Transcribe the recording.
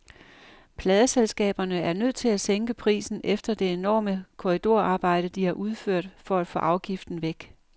Pladeselskaberne er nødt til at sænke prisen efter det enorme korridorarbejde, de har udført for at få afgiften væk.